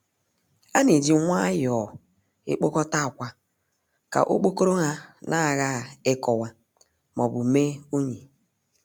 A na-eji nwayọọ ekpokọta akwa ka okpokoro ha nagha ikuwa maọbu mee unyi.